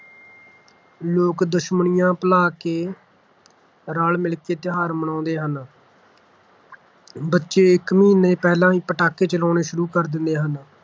ਲੋਕ ਦੁਸ਼ਮਣੀਆ ਭੁਲਾ ਕੇ ਰਲ-ਮਿਲ ਕੇ ਤਿਉਹਾਰ ਮਨਾਉਂਦੇ ਹਨ ਬੱਚੇ ਇੱਕ ਮਹੀਨਾ ਪਹਿਲਾਂ ਹੀ ਪਟਾਕੇ ਚਲਾਉਣੇ ਸ਼ੁਰੂ ਕਰ ਦਿੰਦੇ ਹਨ